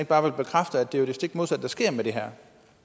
bare bekræfte at det jo er det stik modsatte der sker med det her